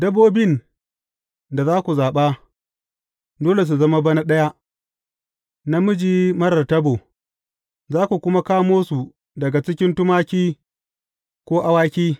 Dabbobin da za ku zaɓa, dole su zama bana ɗaya, namiji marar tabo, za ku kuma kamo su daga cikin tumaki ko awaki.